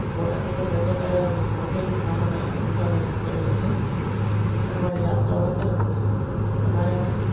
બોટાદની અંદર રહેતો ત્યારે નોકરી પણ મામાના દુકાને કરેલી છે તેના માટે યાદ તો આવે જ છે ને બધા. તમારે?